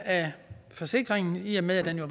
af forsikringen i og med at